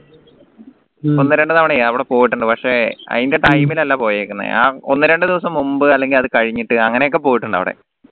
ഒന്ന് രണ്ട് തവണ അവിടെ പോയിട്ടുണ്ട് പക്ഷേ അയിന്റെ time ൽ അല്ല പോയേക്കുന്നെ ആ ഒന്ന് രണ്ട് ദിവസം മുമ്പ് അല്ലെങ്കിൽ അത് കഴിഞ്ഞിട്ട് അങ്ങനെയൊക്കെ പോയിട്ടുണ്ട് അവിടെ